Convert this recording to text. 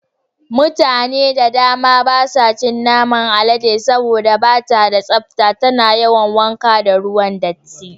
Mutane da dama basu cin naman alade saboda bata da tsafta, tana yawan wanka ne da ruwan datti.